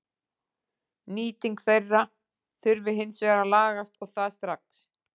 Nýting þeirra þurfi hins vegar að lagast og það strax.